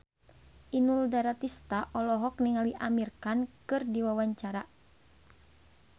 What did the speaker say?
Inul Daratista olohok ningali Amir Khan keur diwawancara